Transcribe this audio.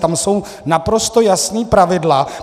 Tam jsou naprosto jasná pravidla.